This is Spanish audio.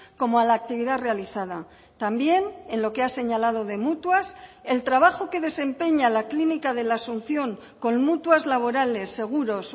como a la actividad realizada también en lo que ha señalado de mutuas el trabajo que desempeña la clínica de la asunción con mutuas laborales seguros